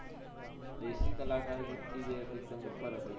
દેશી કલાકાર ગીત થી જે ઉપર હતો